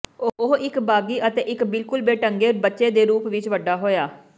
ਉਹ ਇੱਕ ਬਾਗੀ ਅਤੇ ਇੱਕ ਬਿਲਕੁਲ ਬੇਢੰਗੇ ਬੱਚੇ ਦੇ ਰੂਪ ਵਿੱਚ ਵੱਡਾ ਹੋਇਆ